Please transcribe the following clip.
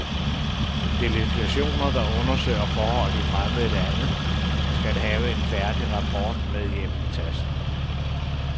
Delegationer, der undersøger forhold i fremmede lande, skal have en færdig rapport med hjem i tasken.